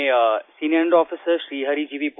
मैं senior under officer Sri Hari gव